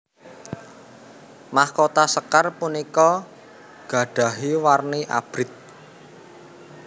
Mahkota sékar punika gadahi warni Abrit